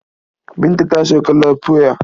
Binta ta sauka lafoya.